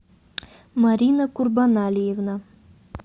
марина курбанальевна